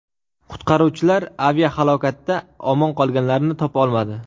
Qutqaruvchilar aviahalokatda omon qolganlarni topa olmadi.